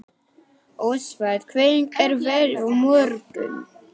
Ósvald, hvernig er veðrið á morgun?